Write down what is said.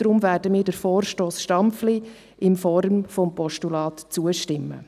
Deshalb werden wir dem Vorstoss Stampfli in Form des Postulats zustimmen.